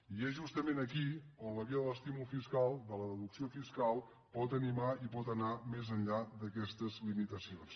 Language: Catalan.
i és justament aquí on la via de l’estímul fiscal de la deducció fiscal pot animar i pot anar més enllà d’aquestes limitacions